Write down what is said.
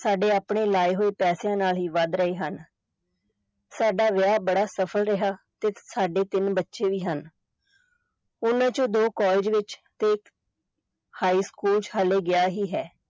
ਸਾਡੇ ਆਪਣੇ ਲਏ ਹੋਏ ਪੈਸਿਆਂ ਨਾਲ ਹੀ ਵਧ ਰਹੇ ਹਨ ਸਾਡਾ ਵਿਆਹ ਬੜਾ ਸਫਲ ਰਿਹਾ ਤੇ ਸਾਡੇ ਤਿੰਨ ਬੱਚੇ ਵੀ ਹਨ ਉਨ੍ਹਾਂ ਵਿਚੋਂ ਦੋ college ਵਿਚ ਤੇ high ਸਕੂਲ ਚ ਹਾਲੇ ਗਿਆ ਹੀ ਹੈ।